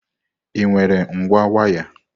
Ị nwere ngwa waya?